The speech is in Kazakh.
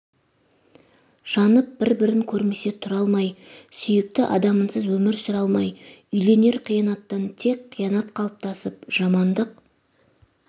жанып бір-бірін көрмесе тұра алмай сүйікті адамынсыз өмір сүре алмай үйленер қиянаттан тек қиянат қалыптасып жамандық